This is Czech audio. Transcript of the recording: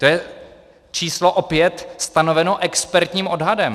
To je číslo opět stanovené expertním odhadem.